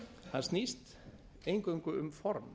það snýst eingöngu um form